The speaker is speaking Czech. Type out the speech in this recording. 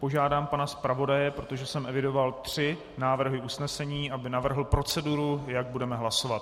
Požádám pana zpravodaje, protože jsem evidoval tři návrhy usnesení, aby navrhl proceduru, jak budeme hlasovat.